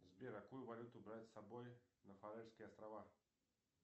сбер какую валюту брать с собой на фарерские острова